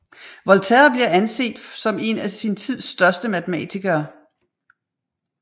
Volterra bliver anset som en sin tids største matematikere